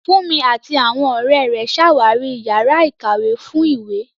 Funmi àti àwọn ọ̀rẹ́ rẹ̀ ṣàwárí yàrá ìkàwé fún ìwé.